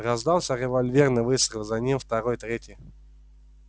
раздался револьверный выстрел за ним второй третий